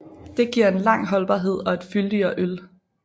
Det giver en lang holdbarhed og et fyldigere øl